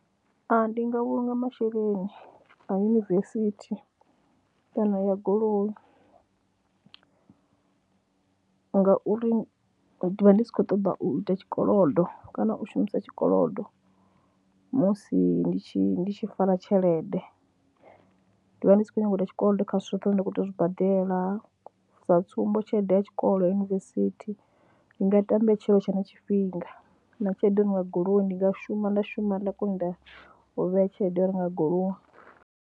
Ndi nga vhulunga masheleni a yunivesithi kana ya goloi ngauri ndi vha ndi sa khou ṱoḓa u ita tshikolodo kana u shumisa tshikolodo musi ndi tshi ndi tshi fara tshelede. Ndi vha ndi sa khou nyaga u ita tshikolodo kha zwithu zwoṱhe zwine nda khou tea u zwi badela, sa tsumbo tshelede ya tshikolo ya yunivesithi ndi nga ita mbetshelo hu tshe na tshifhinga na tshelede ya u renga goloi, ndi nga shuma nda shuma nda kona u ita u vhea tshelede ya u renga goloi.